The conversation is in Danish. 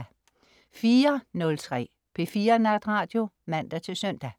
04.03 P4 Natradio (man-søn)